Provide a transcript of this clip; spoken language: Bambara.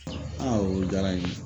o diyara n ye